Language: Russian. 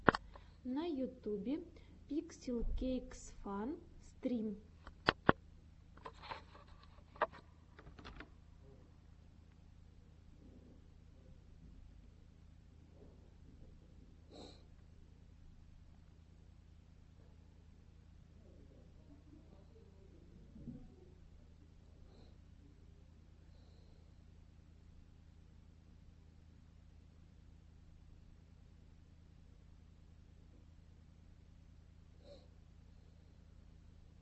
на ютюбе пикселкейксфан стрим